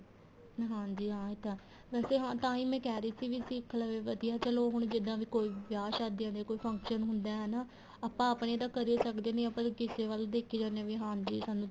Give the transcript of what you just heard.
ਹਾਂਜੀ ਹਾਂ ਏ ਤਾਂ ਵੈਸੇ ਤਾਂਹੀ ਮੈਂ ਕਹਿ ਰਹੀ ਸੀ ਕੀ ਸਿੱਖ ਲਵੇ ਵਧੀਆ ਚਲੋਂ ਹੁਣ ਜਿਹਦਾ ਵੀ ਕੋਈ ਵਿਆਹ ਸ਼ਾਦੀ ਆਂਦੀ ਏ ਕੋਈ function ਹੁੰਦਾ ਹਨਾ ਆਪਾਂ ਆਪਣੇ ਤਾਂ ਕਰ ਸਕਦੇ ਨਹੀਂ ਆਪਾਂ ਜਦ ਕਿਸੇ ਵੱਲ ਦੇਖੀ ਜਾਣੇ ਵੀ ਹਾਂਜੀ ਸਾਨੂੰ